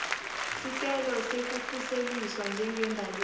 sicelo sekukhuseliswa njengembaleki